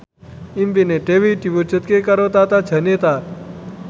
impine Dewi diwujudke karo Tata Janeta